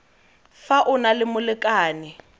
fa o na le molekane